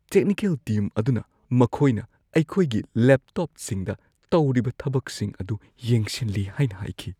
Technical team ꯑꯗꯨꯅ ꯃꯈꯣꯏꯅ ꯑꯩꯈꯣꯏꯒꯤ ꯂꯦꯞꯇꯣꯞꯁꯤꯡꯗ ꯇꯧꯔꯤꯕ ꯊꯕꯛꯁꯤꯡ ꯑꯗꯨ ꯌꯦꯡꯁꯤꯜꯂꯤ ꯍꯥꯏꯅ ꯍꯥꯏꯈꯤ꯫